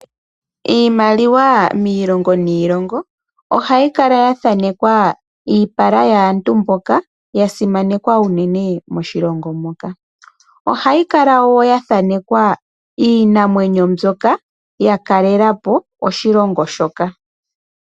Iimaliwa miilongo niilongo ohayi kala ya thanekwa iipala yaantu mboka ya simanekwa uunene moshilongo moka. Ohayi kala ya thanekwa iinamwenyo mbyoka ya kalelapo oshilongo shoka.